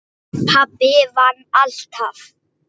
Pabbi vann alltaf.